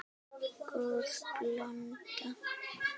Góð blanda.